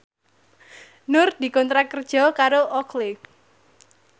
Nur dikontrak kerja karo Oakley